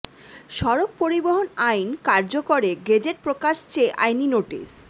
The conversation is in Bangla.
সড়ক পরিবহন আইন কার্যকরে গেজেট প্রকাশ চেয়ে আইনি নোটিশ